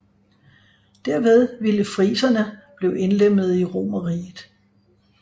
Derved ville friserne blive indlemmede i Romerriget